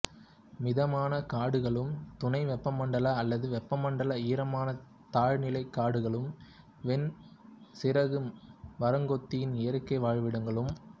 மிதமான காடுகளும் துணை வெப்பமண்டல அல்லது வெப்பமண்டல ஈரமான தாழ்நில காடுகளும் வெண் சிறகு மரங்கொத்தியின் இயற்கை வாழிடங்களாகும்